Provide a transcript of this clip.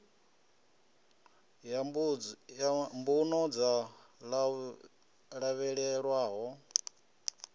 ya mbuno dzo lavhelelwaho yo